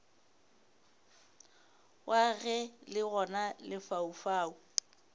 wa ge le gona lefaufau